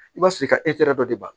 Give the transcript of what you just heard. I b'a sɔrɔ i ka dɔ de b'a